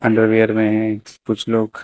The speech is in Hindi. अंडरवियर में है कुछ लोग।